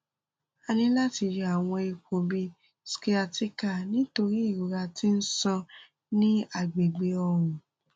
a ni lati yọ awọn ipo bi sciatica nitori irora ti n ṣan si agbegbe ọrùn